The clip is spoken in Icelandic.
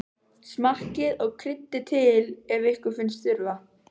Smakkið og kryddið til ef ykkur finnst þurfa.